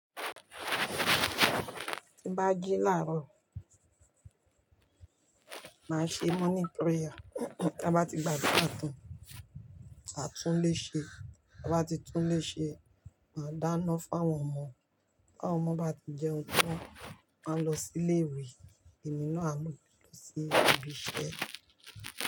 Tí bá jí làárọ̀, màá ṣe morning prayer. Ti a bá ti gbàdurà tán, màá túnlé ṣe. Tí a bá ti túnlé ṣe, màá dáná fáwọn ọmọ. Bí àwọn ọmọ bá ti jẹun tán, màá lọ sí ilé ìwé. Emi náà múra lọ sí ibi iṣẹ́.